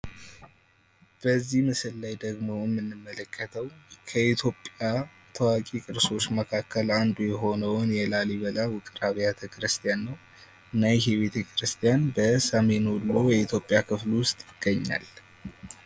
በዚህ ምስል ላይ ደግሞ የምንመለከተው ከኢትዮጵያ ታዋቂ ቅርሶች መካከል አንዱ የሆነውን የላሊበላ ውቅር አቢያተ ክርስቲያን ነው። እና ይህ ቤት ክርስቲያን በሰሜን ወሎ ኢትዮጵያ ክፍል ውስጥ ይገኛል ።